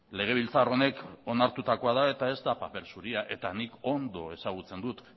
legebiltzar honek onartutako da eta ez da paper zuria eta nik ondo ezagutzen dut